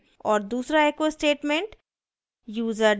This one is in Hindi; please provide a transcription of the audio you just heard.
और दूसरा echo statement